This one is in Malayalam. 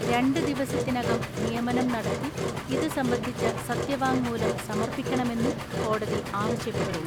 രണ്ട് ദിവസത്തിനകം നിയമനം നടത്തി ഇത് സംബന്ധിച്ച സത്യവാങ്മൂലം സമർപ്പിക്കണമെന്നും കോടതി ആവശ്യപ്പെട്ടു.